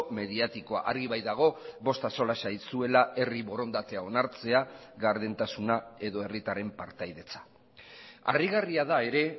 mediatikoa argi baitago bost axola zaizuela herri borondatea onartzea gardentasuna edo herritarren partaidetza harrigarria da ere